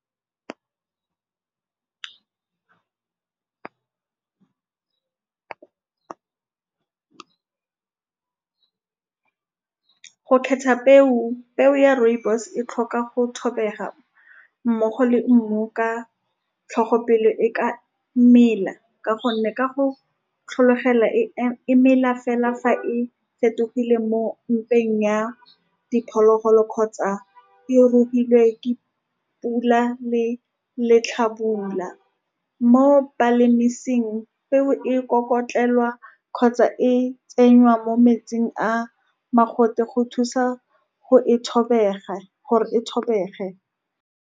Go khetha peo, peo ya rooibos-e e tlhoka go mmogo le mmu ka tlhogo, pele e ka mela, ka gonne ka go tlhologela e , e mela fela fa e fetogile mo mpeng ya diphologolo kgotsa e rukilwe ke pula le letlhabula. Mo balemiruing, peo e kokotlelwa kgotsa e tsenngwang mo metsing a a mogote go thusa go e gore e .